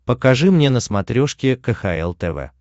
покажи мне на смотрешке кхл тв